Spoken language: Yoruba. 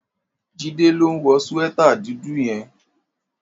Jide ló n wò síwètá dúdù yèn